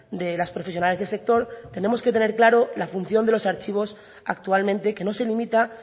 de las profesionales del sector tenemos que tener claro la función de los archivos actualmente que nos se limita